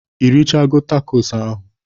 Ị richago tacos ahụ